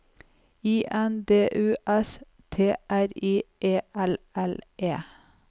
I N D U S T R I E L L E